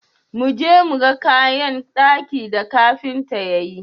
Mu je mu ga kayan daki da kafinta ya yi.